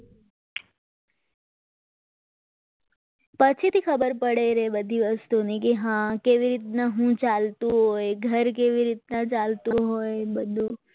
પછીથી ખબર પડે કે બધી વસ્તુને કે હા કેવી રીતના શું ચાલતું હોય ઘર કેવી રીતના ચાલતું હોય બધું